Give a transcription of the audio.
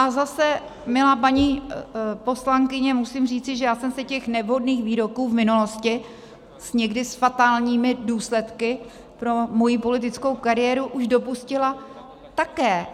A zase, milá paní poslankyně, musím říci, že já jsem se těch nevhodných výroků v minulosti, někdy s fatálními důsledky pro moji politickou kariéru, už dopustila také.